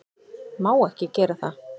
Má ekki gera það.